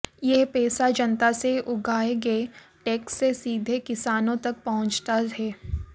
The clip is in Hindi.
यह पैसा जनता से उगाहे गए टैक्स से सीधे किसानों तक पहुंचता है